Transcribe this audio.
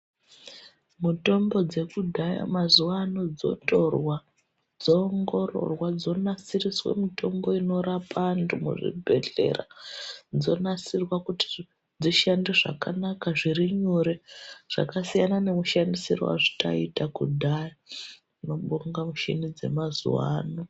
Mutombo dzekudhaya mazuwa ano dzotorwa dzoongororwa dzonasiriswe mutombo inorapa antu muzvibhedhlera dzonasirwa kuti dzishande zvakanaka zviri nyore zvakasiyana nemushandisiro wataiita kudhaya tinobonga mushini dzemazuwa ano.